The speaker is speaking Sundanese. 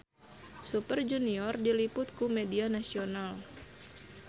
Super Junior diliput ku media nasional